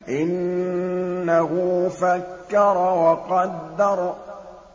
إِنَّهُ فَكَّرَ وَقَدَّرَ